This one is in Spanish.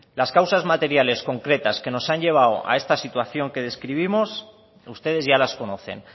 las causas materiales concretas que nos han llevado a esta situación que describimos ustedes ya las conocen